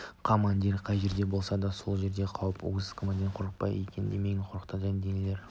командир қай жерде болса сол жерде қауіп аз командир қорықпайды екен демек қорқатын да дәнеңе